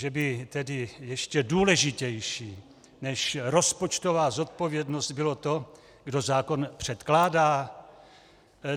Že by tedy ještě důležitější než rozpočtová zodpovědnost bylo to, kdo zákon předkládá?